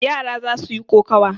Yara za su yi kokawa.